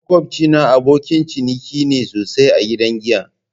Makwabcina abokin ciniki ne sosai a gidan giya.